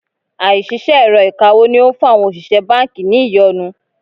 Àìṣiṣẹ́ èrọ ìkawó ni ó ń fún àwọn òṣìṣẹ́ báńkì ní ìyọnu.